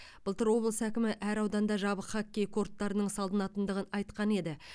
былтыр облыс әкімі әр ауданда жабық хоккей корттарының салынатындығын айтқан еді